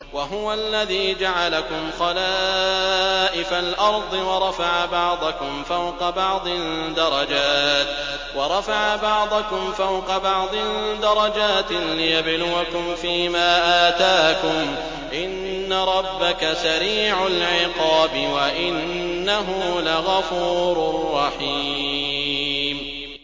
وَهُوَ الَّذِي جَعَلَكُمْ خَلَائِفَ الْأَرْضِ وَرَفَعَ بَعْضَكُمْ فَوْقَ بَعْضٍ دَرَجَاتٍ لِّيَبْلُوَكُمْ فِي مَا آتَاكُمْ ۗ إِنَّ رَبَّكَ سَرِيعُ الْعِقَابِ وَإِنَّهُ لَغَفُورٌ رَّحِيمٌ